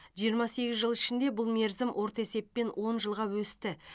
жиырма сегіз жыл ішінде бұл мерзім орта есеппен он жылға өсті